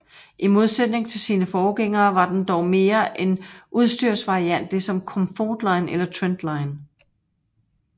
I modsætning til sine forgængere var den dog mere en udstyrsvariant ligesom Comfortline eller Trendline